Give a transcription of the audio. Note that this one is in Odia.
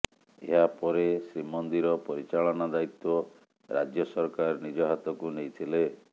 ଏହାପରେ ଶ୍ରୀମନ୍ଦିର ପରିଚାଳନା ଦାୟିତ୍ୱ ରାଜ୍ୟ ସରକାର ନିଜ ହାତକୁ ନେଇଥିଲେ